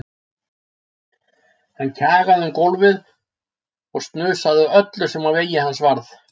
Hann kjagaði um gólfið og snusaði að öllu sem á vegi hans varð.